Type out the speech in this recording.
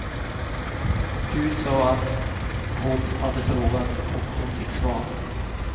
Gud sa att hon hade frågat, och hon fick svar.